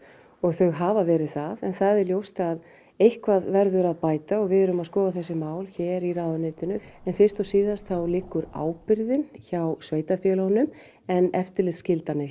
og þau hafa verið það en það er ljóst að eitthvað verður að bæta og við erum að skoða þessi mál hér í ráðuneytinu fyrst og síðast liggur ábyrgðin hjá sveitarfélögunum en eftirlitsskyldan er